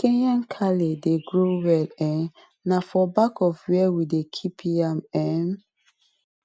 kenya kale dey grow well um now for back of where we dey keep yam um